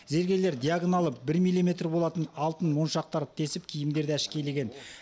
зергерлер диагоналы бір миллиметр болатын алтын моншақтарды тесіп киімдерді әшекейлеген